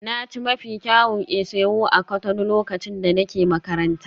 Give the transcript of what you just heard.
Na ci mafi kyawun isi-ewu a Cotonou lokacin da nake makaranta.